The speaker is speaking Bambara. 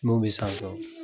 Munw bɛ san